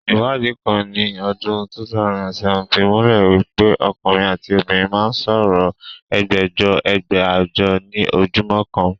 Iwadi kan ni odun 2007 fi mule wipe okunrin ati obinrin maa n so oro Ẹgbajọ, ẹgbàájọ ni ojumo kan.